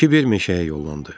Kiber meşəyə yollandı.